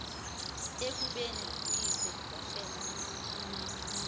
ekubeni uyise wafela